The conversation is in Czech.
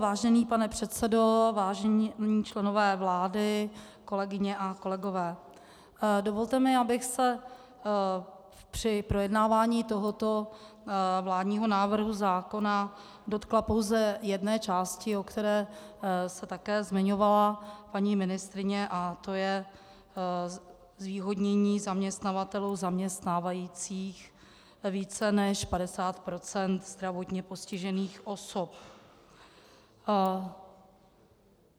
Vážený pane předsedo, vážení členové vlády, kolegyně a kolegové, dovolte mi, abych se při projednávání tohoto vládního návrhu zákona dotkla pouze jedné části, o které se také zmiňovala paní ministryně, a to je zvýhodnění zaměstnavatelů zaměstnávajících více než 50 % zdravotně postižených osob.